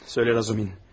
Söylə Razumin.